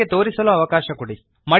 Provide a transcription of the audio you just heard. ನನಗೆ ತೋರಿಸಲು ಅವಕಾಶ ಕೊಡಿರಿ